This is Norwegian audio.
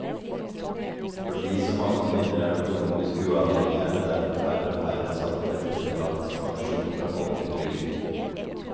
Fordi så mange kvinner er økonomisk uavhengige er det derfor færre og færre som får etterlattepensjon fra folketrygden.